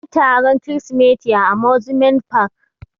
Anyi taron kirisimeti a amusement park.